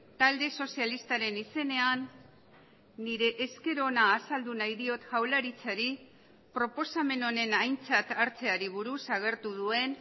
talde sozialistaren izenean nire esker ona azaldu nahi diot jaurlaritzari proposamen honen aintzat hartzeari buruz agertu duen